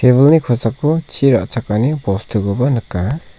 tebil -ni kosako chi ra·chakani bostukoba nika.